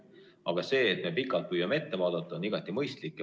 Aga see, et me püüame pikalt ette vaadata, on igati mõistlik.